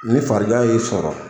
Ni farigan y'i sɔrɔ